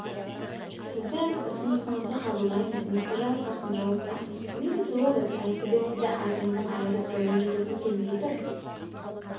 сіздің ұсынысыңызды қабылдаймыз мистер жарылқасын жауап қатты миссис уэлдон әйтсе де сізді атыңыздан айырып жаяу жүргізгім келмей тұр